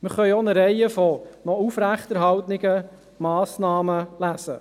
Wir können auch eine Reihe noch aufrechterhaltener Massnahmen lesen.